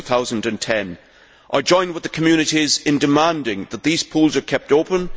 2010! I join with these communities in demanding that these pools are kept open